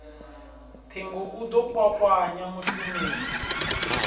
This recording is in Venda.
ṱhingo u ḓo kwakwanya mushumeli